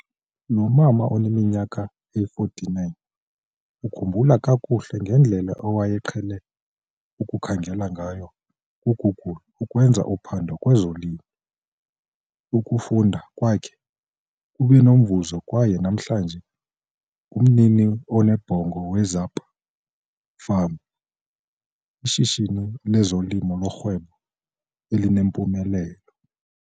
Lo mama oneminyaka engama-49 ukhumbula kakuhle ngedlela awayeqhele ukukhangela ngayo kuGoogle ukwenza uphando kwezolimo. Ukufunda kwakhe kube nomvuzo kwaye namhlanje, ungumnini onebhongo we-Zapa Farm, ishishini lezolimo lorhwebo elinempumelelo.